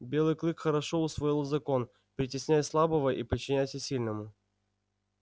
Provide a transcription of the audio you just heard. белый клык хорошо усвоил закон притесняй слабого и подчиняйся сильному